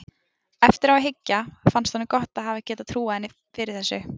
Eftir á að hyggja finnst honum gott að hafa getað trúað henni fyrir þessu.